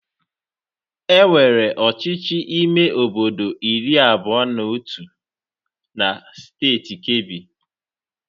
Enwere ọchịchị ime obodo iri abụọ na otu na steeti Kebbi.